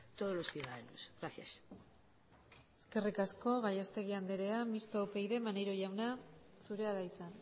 todos los ciudadanos gracias eskerrik asko gallastegui andrea mistoa upyd maneiro jauna zurea da hitza